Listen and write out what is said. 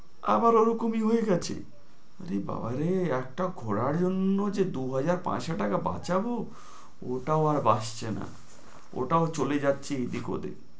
আবার ওরকমই হয়ে গেছে, আরে বাবারে একটা ঘোরার জন্য যে দুহাজার পাঁচশো টাকা বাঁচাবো ওটাও আর বাঁচছে না, ওটাও চলে যাচ্ছে এদিক ওদিক।